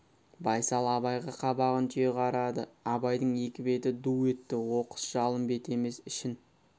байсал абайға қабағын түйе қарады абайдың екі беті ду етті оқыс жалын беті емес ішін